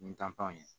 Ni panpan ye